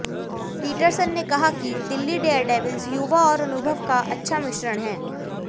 Peterson ने कहा कि दिल्ली डेयरडेविल्स युवा और अनुभव का अच्छा मिश्रण है